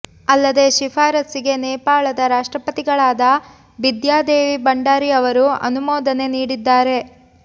ಅಲ್ಲದೆ ಶಿಫಾರಸ್ಸಿಗೆ ನೇಪಾಳದ ರಾಷ್ಟ್ರಪತಿಗಳಾದ ಬಿದ್ಯಾ ದೇವಿ ಭಂಡಾರಿ ಅವರು ಅನುಮೋದನೆ ನೀಡಿದ್ದಾರೆ